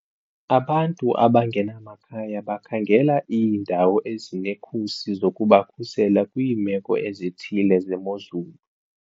Abantu abangenamakhaya bakhangela iindawo ezinekhusi zokubakhusela kwiimeko ezithile zemozulu.